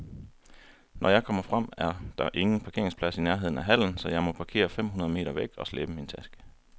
Når jeg kommer frem, er der ingen parkeringsplads i nærheden af hallen, så jeg må parkere fem hundrede meter væk og slæbe min taske.